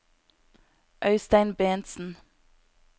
Øystein Bentsen